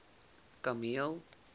kameel